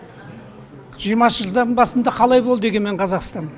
жиырмасыншы жылдардың басында қалай болды егемен қазақстан